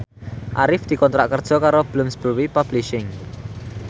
Arif dikontrak kerja karo Bloomsbury Publishing